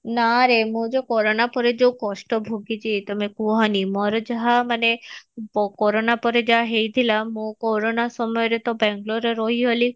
ନା ରେ ମୁଁ ତ କୋରୋନା ପରେ ଯୋଉ କଷ୍ଟ ଭୋଗିଛି ତମେ କୁହନି ମୋର ଯାହା ମାନେ କୋରୋନା ପରେ ଯାହା ହେଇଥିଲା ମୋ କୋରୋନା ସମୟରେ ତ ବାଙ୍ଗେଲୋର ରେ ରହିଗଲି